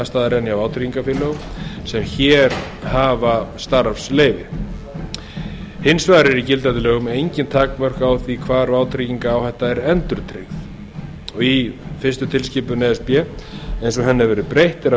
en hjá vátryggingafélögum sem hér hafa starfsleyfi hins vegar eru í gildandi lögum engin takmörk á því hvar vátryggingaráhætta er endurtryggð í fyrsta tilskipun e s b eins og henni hefur verið breytt er að